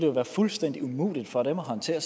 jo være fuldstændig umuligt for dem at håndtere